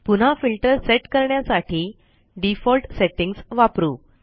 पुन्हा filter set करण्यासाठी default settings वापरू